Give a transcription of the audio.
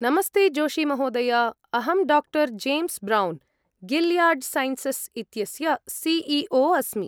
नमस्ते जोशी महोदय। अहं डा. जेम्स् ब्रौन्, गिल्याड् सैन्सस् इत्यस्य सि.ई.ओ. अस्मि।